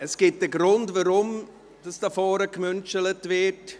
Es gibt einen Grund, weshalb hier vorne Küsschen verteilt werden.